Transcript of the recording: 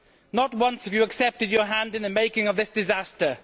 not once have you accepted your hand in the making of this disaster.